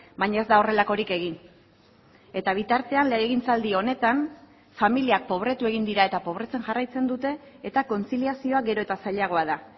baina ez da horrelakorik egin eta bitartean legegintzaldi honetan familiak pobretu egin dira eta pobretzen jarraitzen dute eta kontziliazioa gero eta zailagoa da